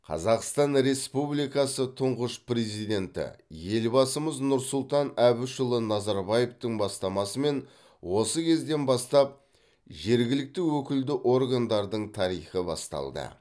қазақстан республикасы тұңғыш президенті елбасымыз нұрсұлтан әбішұлы назарбаевтың бастамасымен осы кезден бастап жергілікті өкілді органдардың тарихы басталды